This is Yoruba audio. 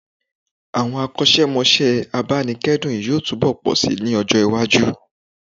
Àwọn akọ́ṣẹ́mọṣẹ́ abánikẹ́dùn yóò túnbọ̀ pọ̀ sí ní ọjọ́-iwájú.